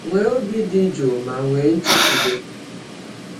Nwee obi dị jụụ ma nwee nchekwube.